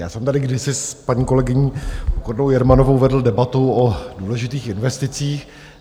Já jsem tady kdysi s paní kolegyní Pokornou Jermanovou vedl debatu o důležitých investicích.